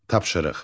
Tapşırıq.